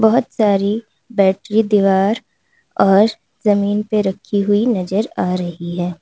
बहोत सारी बैटरी दीवार और जमीन पर रखी हुई नजर आ रही है।